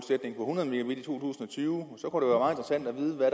tyve så det også